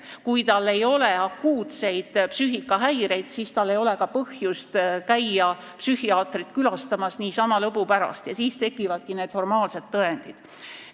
Kui tal ei ole akuutseid psüühikahäireid, siis ei ole tal ka põhjust käia niisama lõbu pärast psühhiaatri juures, sest siis tekivadki need formaalsed tõendid.